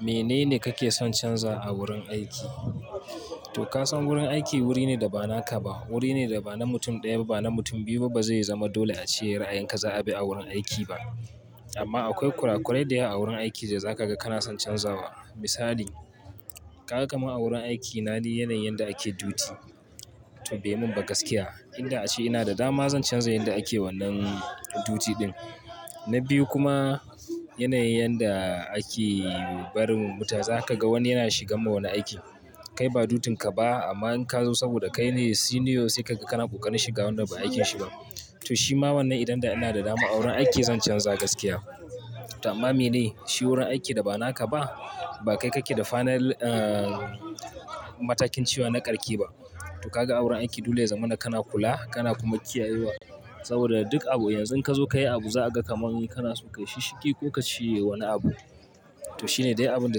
Menene kake son canza a wurin aiki? To ka san wurin aiki wuri ne da ba naka ba. Wuri ne da ba na mutum ɗaya ba, na mutum biyu ba zai zama dole a cire a yanka, za'a bi a wurin aiki ba. Amma akwai kurakurai da yawa a wurin aiki da za ka ga kana son canzawa. Misali, ka ga kamar a wurin aikina ne yanayin yadda ake duti. To bai mun ba gaskiya. Inda ace ina da dama zan canza yanda ake wannan duti din. Na biyu kuma yanayin yanda ake barin mutaza. Ka ga wani yana shigar ma wani aiki, kai ba dutun ka ba amma in ka zo saboda kai ne "senior" sai ka ga kana ƙoƙarin shiga wannan ba aikinshi ba. To shi ma wannan idan da ina da dama a wurin aiki zan canza gaskiya. To amma me ne? Shi wurin aiki da ba naka ba. Ba kai kake da final, ah, matakin cewa na ƙarke ba. To kaga wurin aiki dole ya zama ina kana kula, kana kuma kiyayewa. Saboda duk abu yanzu ka zo ka yi abu za a ga kamar yi kana so ka yi shiki ko ka ci wani abu. To shine dai abun da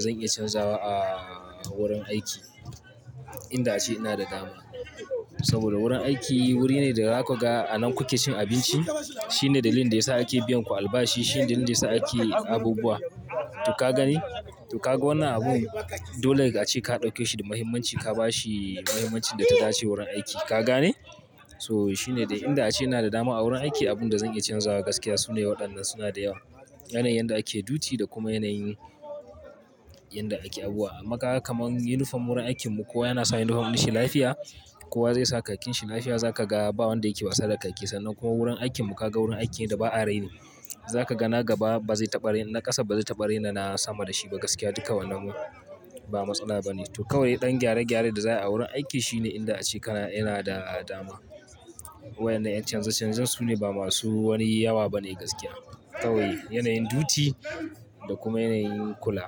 zan iya canzawa a wurin aiki inda ace ina da dama. Saboda wurin aiki wuri ne da zaku ga anan kuke cin abinci. Shine dalilin da yasa ake biyan ku albashi. Shine dalilin da yasa ake abubuwa. To ka gani? To kaga wannan abun dole ace ka ɗauke shi da mahimmanci ka ba shi mahimmancin da ta dace wurin aiki. Ka gane? So shine dai inda ace ina da dama a wurin aiki. Abun da zan iya canzawa gaskiya sune waɗannan suna da yawa. Yanayin yadda ake duti da kuma yanayin yadda ake abuwa. Amaka kamar yunifom wurin aikinmu kowa yana sa yunifom shi lafiya. Kowa zai sa khakin shi lafiya. Za ka ga ba wanda yake wasa da khakin sannan kuma wurin aikinmu ka ga wurin aiki da ba a raini. Za ka ga na gaba ba zai taɓa raina, ƙasa ba zai taɓa raina na sama da shi ba gaskiya. Duka wannan ba matsala ba ne. To kawai ɗan gyare gyaren da za a yi a wurin aiki shine inda ace kana ina da dama. Waɗannan canza canza sune ba masu wani yawa ba ne gaskiya. Kawai yanayin duti da kuma yanayin kula.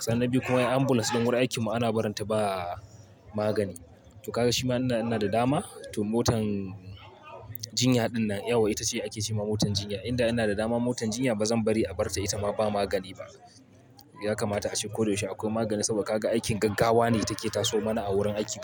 Sannan biyu kuma ambulans ɗin wurin aikinmu ana barin ta ba magani. To kaga shi ma inda ina da dama. To motan jinya ɗinnan yawa ita ce ake ce ma motar jinya. Inda ina da dama motar jinya ba zan bari a bar ta ita ma ba magani ba. Ya kamata a ce koyaushe akwai magani saboda ka ga aikin gaggawa ne take taso mana a wurin aiki.